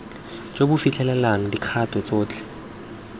jo bo fitlhelelang dikgato tsotlhe